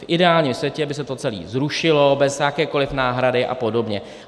V ideálním světě by se to celé zrušilo bez jakékoliv náhrady a podobně.